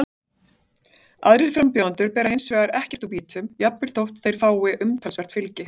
Aðrir frambjóðendur bera hins vegar ekkert úr býtum, jafnvel þótt þeir fái umtalsvert fylgi.